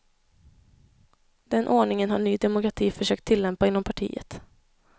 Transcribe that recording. Den ordningen har ny demokrati försökt tillämpa inom partiet.